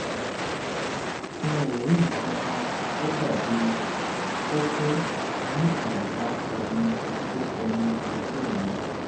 n ò rí nǹkan kan tó dàbí kókó níàyíká ẹnu okó ẹnu okó mi